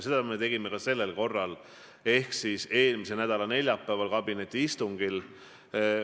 Seda me tegime ka sellel korral ehk eelmise nädala neljapäeval kabinetiistungil.